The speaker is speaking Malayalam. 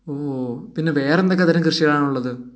ഓ വേറെ എന്തൊക്കെ തരം കൃഷികൾ ആണ് ഉള്ളത്